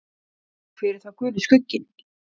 Hver er þá Guli skugginn?